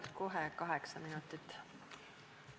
Palun kohe kaheksa minutit!